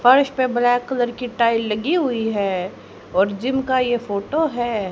फर्श पे black colour की टाइल लगी हुई है और जिम का ये फोटो है।